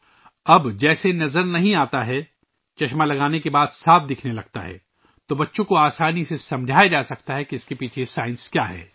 اب جیسے دکھتا نہیں ہے ، عینک لگانے کے بعد صاف دکھنے لگتا ہے تو بچوں کو آسانی سے سمجھایا جا سکتا ہے کہ اس کے پیچھے سائنس کیا ہے